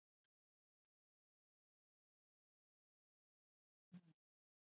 Þorlákur Árnason: Ekki ykkar besti leikur í dag?